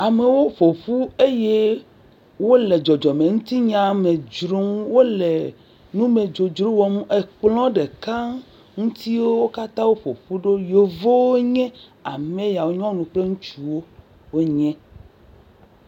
Amewo ƒoƒu eye wole dzɔdzɔmenutinya me dzrom, wole numedzodzro wɔm, ekplɔ ɖeka ŋuti wo katã woƒoƒu ɖo yevuwo nye ameyawo, nyɔnu kpl ŋutsuwo ame yawo nye.